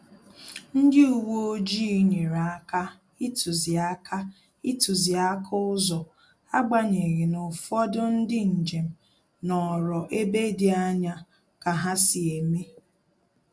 Ndị uwe ojii nyere aka ituziaka ituziaka ụzọ, agbanyeghi n'ufodu ndị njem nọrọ ebe dị anya ka ha si eme